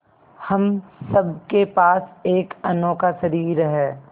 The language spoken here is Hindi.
हम सब के पास एक अनोखा शरीर है